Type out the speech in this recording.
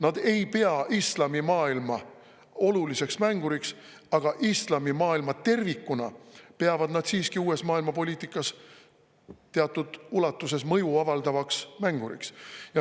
Nad ei pea islamimaailma oluliseks mänguriks, aga islamimaailma tervikuna peavad nad siiski uues maailmapoliitikas teatud ulatuses mõju avaldavaks mänguriks.